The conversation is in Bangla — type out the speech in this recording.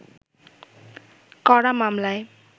করা মামলায়